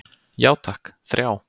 Já takk, þrjá.